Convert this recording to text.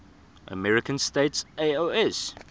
american states oas